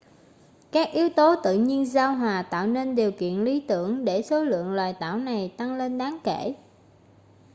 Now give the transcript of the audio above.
các yếu tố tự nhiên giao hòa tạo nên điều kiện lý tưởng để số lượng loài tảo này tăng lên đáng kể